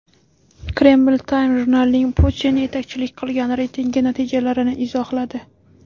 Kreml Time jurnalining Putin yetakchilik qilgan reytingi natijalarini izohladi.